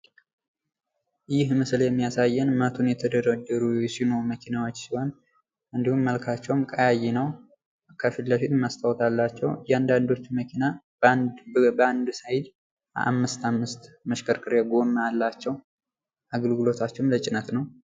ይህ ምስሉ የሚያሳየን መቱን የተደረደሩ የሲኖ መኪናዎች ሲሆን እንዲሁም መልካቸውም ቀያይ ነው። ከፊት ለፊት መስታዎት አለው። እያንዳንዶቹ መኪና በአንድ ሳይድ አምስት አምስት መሽከርከሪያ ጎማ አላቸው አገልግሎታቸውም ለጭነት ነው።